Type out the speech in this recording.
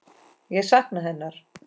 Ég sakna hennar.